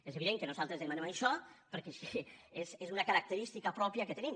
és evident que nosaltres demanem això perquè és una característica pròpia que tenim